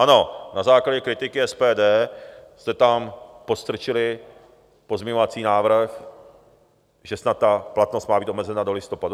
Ano, na základě kritiky SPD jste tam podstrčili pozměňovací návrh, že snad ta platnost má být omezena do listopadu.